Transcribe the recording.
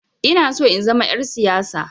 Inaso in zama 'yar siyasa.